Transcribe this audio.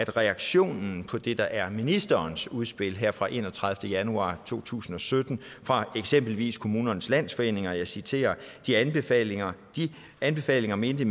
reaktionen på det der er ministerens udspil her fra den enogtredivete januar to tusind og sytten fra eksempelvis kommunernes landsforening og jeg citerer de anbefalinger anbefalinger mente